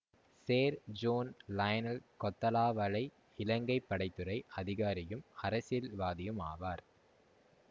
சேர் John Lionel Kotelawala Ilankai படை துறை அதிகாரியும் அரசியல்வாதியும் ஆவார்